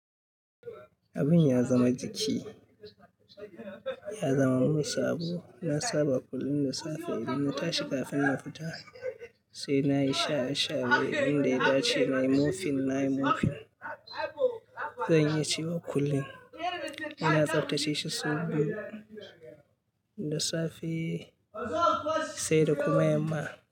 Abin ya zama jiki, ya zama musabu. Na saba kullum da safe idan na tashi kafin na fita, sai na yi sha shaye. Inda ya dace na yi mofin, na yi mofin. Zan iya cewa kullum ina tsaftace shi sau biyu da safe sai da kuma yamma.